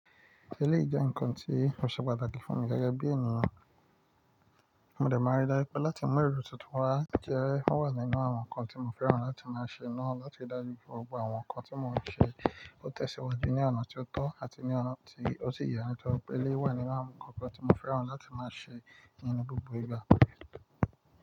Eléyi jé nǹkan ti ó ṣe pàtàkì fún mi gẹ́gẹ́ bí ènìyàn, mo dẹ̀ máa rí i dájú pẹ̀ láti mú èrò tuntun wá jẹ́, ó wà nínú àwọn nǹkan tí mo fẹ́ràn láti máa ṣe ná, láti rí i dájú pé gbogbo àwọn nǹkan tí mo ń ṣe ó tẹ̀síwajú ní ọ̀nà tí ó tọ́ àti ní ọ̀nà tí ó si ye nítoripe eleyi Pélé wà ní àwọn nǹkan kan tí mo fẹ́ràn láti máa ṣe ní gbogbo ìgbà.